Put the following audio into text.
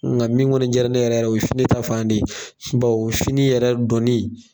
Ŋa min kɔni diyara ne yɛrɛ yɛrɛ ye o ye fini ta fan de ye. o fini yɛrɛ donni